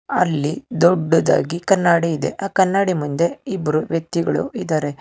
ಅಲ್ಲಿ ದೊಡ್ಡದಾಗಿ ಕನ್ನಡಿ ಇದೆ ಆ ಕನ್ನಡಿ ಮುಂದೆ ಇಬ್ಬರು ವ್ಯಕ್ತಿಗಳು ಇದಾರೆ.